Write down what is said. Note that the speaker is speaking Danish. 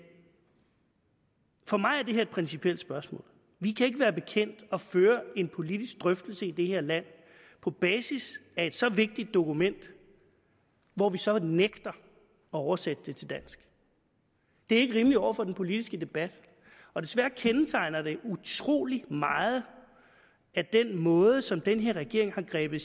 for mig er det her et principielt spørgsmål vi kan ikke være bekendt at føre en politisk drøftelse i det her land på basis af et så vigtigt dokument hvor vi så nægter at oversætte det til dansk det er ikke rimeligt over for den politiske debat og desværre kendetegner det utrolig meget den måde som den her regering har grebet